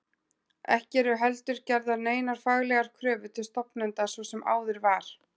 Ekki eru heldur gerðar neinar faglegar kröfur til stofnenda svo sem áður var.